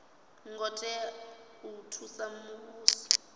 ngo tea u thusa muvhuso